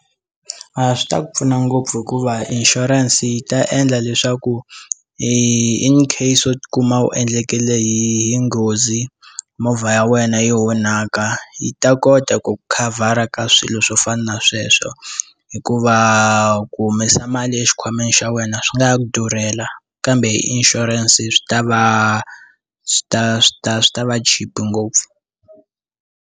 A swi ta ku pfuna ngopfu hikuva insurance yi ta endla leswaku i incase u tikuma u endlekele hi nghozi movha ya wena yi onhaka yi ta kota ku ku khavara ka swilo swo fana na sweswo hikuva ku humesa mali exikhwameni xa wena swi nga ku durhela kambe inshurense swi ta va swi ta swi ta swi ta va cheap ngopfu.